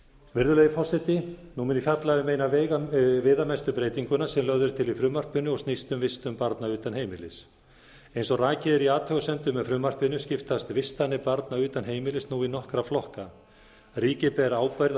virðulegi forseti nú mun ég fjalla um eina viðamestu breytinguna sem lögð er til í frumvarpinu og snýst um vistun barna utan heimilis eins og rakið er í athugasemdum með frumvarpinu skiptast vistanir barna utan heimilis ú í nokkra flokka ríkið ber ábyrgð á